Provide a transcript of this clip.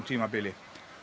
tímabili